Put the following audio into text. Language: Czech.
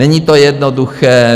Není to jednoduché.